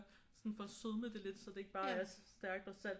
Sådan for at sødme det lidt så det ikke bare er stærkt og salt